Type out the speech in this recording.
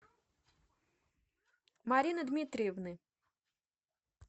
марины дмитриевны